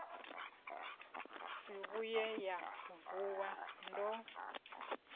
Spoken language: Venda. si vhuye nda vuwa ndo